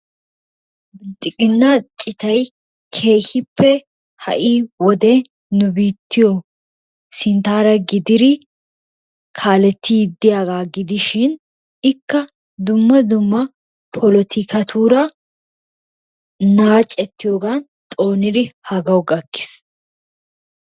Bilxiginna cittay keehippe ha'i wode nu biittiyo sinttara gididi kaalettidi diyaaga gidishin ikka dumma dumma polotikkatura naacetiyoggan xoonidi haggawu gakkis.